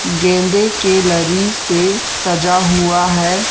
गेंदें के लरी से सजा हुआ है।